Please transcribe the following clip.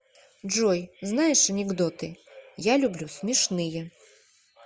джой знаешь анекдоты я люблю смешные